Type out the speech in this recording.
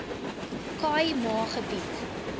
khâi ma gebied